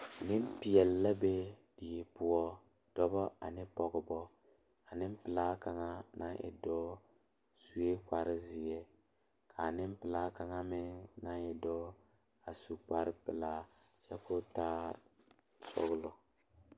Nenpeɛle dɔɔba ne pɔgeba la toɔ a pegle orobaare ka teere yigaa are a ba nimitɔɔre ka bamine su kpare ziiri ka bamine meŋ su kpare sɔglɔ ka bamine meŋ a do kyɛ koo taa sɔglɔ.